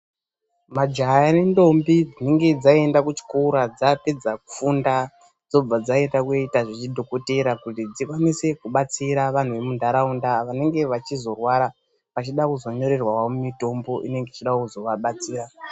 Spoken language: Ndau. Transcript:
Majaya nendombi dzinenge dzaenda kuchikora dzapedza kufunda dzobva dzaenda koita zvechidhokotera. Kuti dzikurumidze kuvabatsira vantu vemunharaunda vanenge vachizorwara vanenge vachida kuzonyorerwawo mitombo inenge ichida kuzowabatsira.